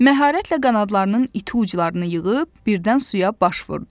Məharətlə qanadlarının iti uclarını yığıb, birdən suya baş vurdu.